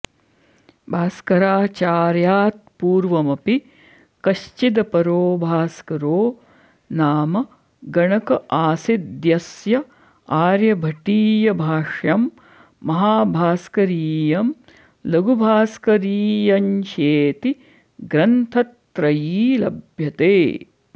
भास्कराचार्यात्पूर्वमपि कश्चिदपरो भास्करो नाम गणक आसीद्यस्य आर्यभटीयभाष्यं महाभास्करीयं लघुभास्करीयञ्चेति ग्रन्थत्रयी लभ्यते